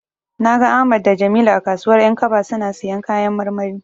Na ga Ahmad da Jamilu a kasuwar 'yankaba suna siyan kayan marmari.